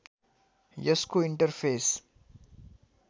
यसको इन्टरफेस